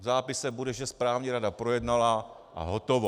V zápise bude, že správní rada projednala a hotovo.